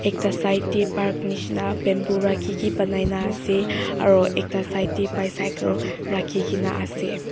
ekta side teh park nisna bamboo rai ki ki banai na ase aro ekta side teh bycycle rakhi ke na ase.